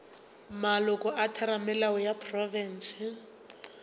maloko a theramelao ya profense